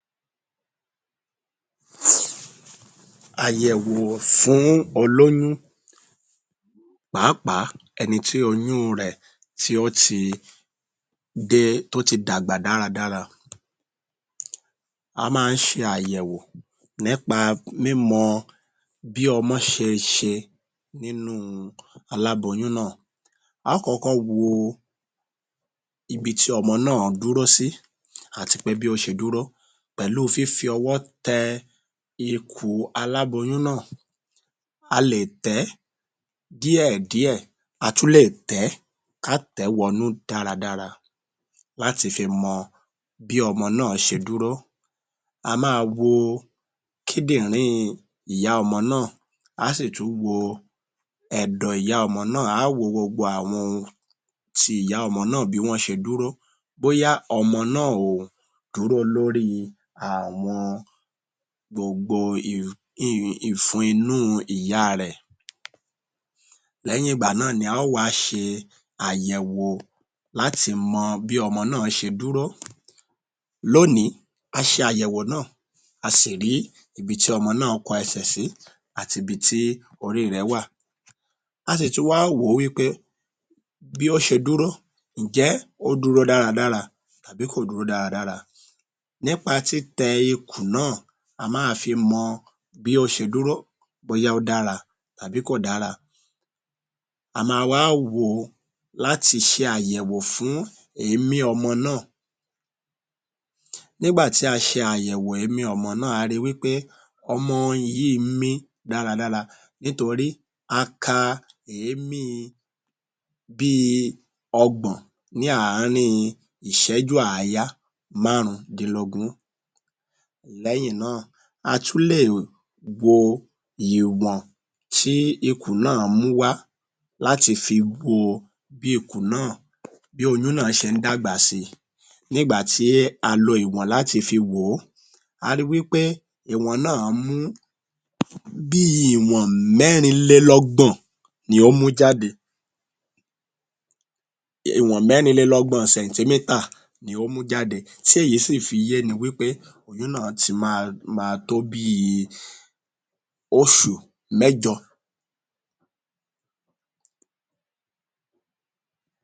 Àyẹ̀wò fún olóyún pàápàá ẹni tí oyún un rẹ̀ tí ó ti dé.. tí ó ti dàgbà dáradára. A máa ń ṣe àyẹ̀wò nípa mímọ bí ọmọ ṣe sẹ nínú u aláboyún náà a ó kọ́kọ́ wo ibi tí ọmọ náà dúró sí àti pé bí ó ṣe dúró pẹ̀lú fífi ọwọ́ tẹ ikùn aláboyún náà, a lè tẹ̀ ẹ́ díẹ̀díẹ̀ a tún lè tẹ̀ ẹ́ kí á tẹ̀ ẹ́ wọnú dáradara láti fi mọ bí ọmọ náà ṣe dúró. A máa wo kíndìnrín ìyá ọmọ náà á sì tún wo ẹ̀dọ̀ ìyá ọmọ náà, a ó wo gbogbo àwọn ohun ti ìyá ọmọ náà bó ṣe dúró bóyá ọmọ náà ò dúró lórí i àwọn gbogbo ìfun inú ìyá a rẹ̀. Lẹ́yìn ìgbà náà ni a ó wá ṣe àyẹ̀wò láti mọ bí ọmọ náà bí ó ṣe dúró, lónìí a ṣe àyẹ̀wò náà a sì rí ibi tí ọmọ náà kọ ẹsẹ̀ sí àti ibi tí orí i rẹ̀ wà. A sì tún wá wò ó wí pé bí ó ṣe dúró ǹjẹ́ ó dúró dáradára tàbí kò dúró dáradára nípa títẹ ikùn náà a máa fi mọ bí ó ṣe dúró bóyá ó dára àbí kò dára a ma wá wò ó láti ṣe àyẹ̀wò fún èémí ọmọ náà. Nígbà tí a ṣe àyẹ̀wò èémí ọmọ náà a ri wí pé ọmọ yìí ń mí dáradára nítorí a ka èémí bí i ọgbọ̀n ní àárín ìṣẹ́jú àáyá márùndínlógún lẹ́yìn náà a tún lè wo ìwọ̀n tí ikùn náà mú wá láti fi wo bí ikùn náà. Bí oyún náà ṣe ń dàgbà si, ní ìgbà tí a fi ìwọ̀n láti fi wò ó a rí i wí pé ìwọ̀n náà mú bí i ìwọ̀n mẹ́rinlélọ́gbọ̀n ni ó mú jáde...ìwọ̀n mẹ́rinlélọ́gbọ̀n centimeter ni ó mú jáde tí èyí sì fi yéni wí pé oyún náà ti ma ma tó bí i oṣù mẹ́jọ.